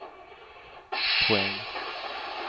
poäng